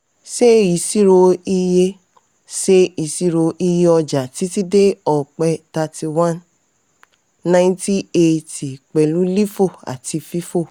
ṣe ìṣirò iye ṣe ìṣirò iye ọjà títí dé ọpẹ́ thirty one ninety eightey pẹ̀lú lifo àti fifo.